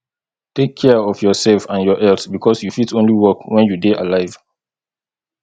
take care of yourself and your health because you fit only work when you dey alive